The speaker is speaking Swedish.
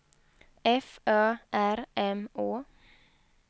F Ö R M Å